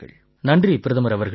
நன்றி பிரதமர் அவர்களே